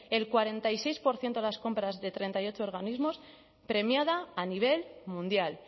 cuarenta y seis por ciento de las compras de treinta y ocho organismos premiada a nivel mundial